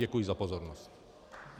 Děkuji za pozornost.